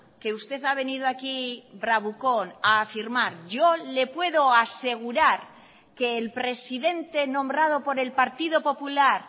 que usted ha venido aquí bravucón a afirmar yo le puedo asegurar que el presidente nombrado por el partido popular